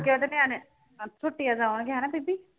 ਅੱਗੇ ਉਹਦੇ ਨਿਆਣੇ ਅਹ ਛੁੱਟੀਆਂ ਚ ਆਉਣਗੇ ਹਨਾ ਬੀਬੀ?